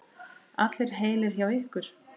Allir heilir hjá ykkur?